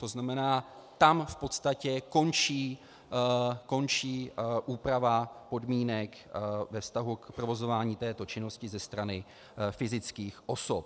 To znamená, tam v podstatě končí úprava podmínek ve vztahu k provozování této činnosti ze strany fyzických osob.